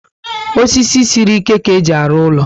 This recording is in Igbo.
Osisi siri ike ka éjị arụ úlọ